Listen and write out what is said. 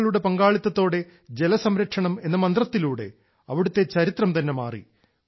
ജനങ്ങളുടെ പങ്കാളിത്തത്തോടെ ജലസംരക്ഷണം എന്ന മന്ത്രത്തിലൂടെ അവിടുത്തെ ചരിത്രം തന്നെ മാറി